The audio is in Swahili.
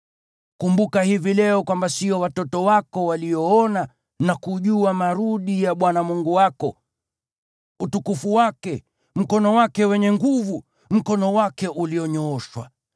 Kumbuka hivi leo kwamba sio watoto wako walioona na kujua adhabu ya Bwana Mungu wako: utukufu wake, mkono wake wenye nguvu, mkono wake ulionyooshwa;